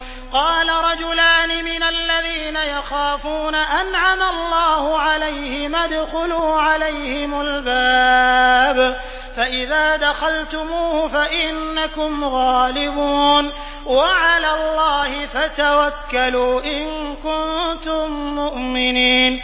قَالَ رَجُلَانِ مِنَ الَّذِينَ يَخَافُونَ أَنْعَمَ اللَّهُ عَلَيْهِمَا ادْخُلُوا عَلَيْهِمُ الْبَابَ فَإِذَا دَخَلْتُمُوهُ فَإِنَّكُمْ غَالِبُونَ ۚ وَعَلَى اللَّهِ فَتَوَكَّلُوا إِن كُنتُم مُّؤْمِنِينَ